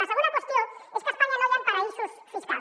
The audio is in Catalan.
la segona qüestió és que a espanya no hi han paradisos fiscals